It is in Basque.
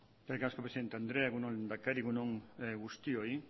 eskerrik asko presidente andrea egun on lehendakari egun on guztioi